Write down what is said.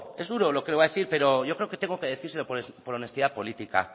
es duro lo que voy a decir pero yo creo que tengo que decírselo por honestidad política